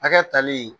Hakɛ tali